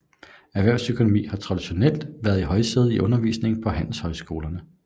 Erhvervsøkonomi har traditionelt været i højsædet i undervisningen på handelshøjskolerne